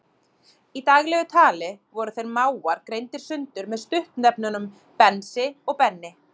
Í daglegu tali voru þeir mágar greindir sundur með stuttnefnunum Bensi og Benni.